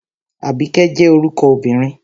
Àbíkẹ́ jẹ́ orúkọ obìnrin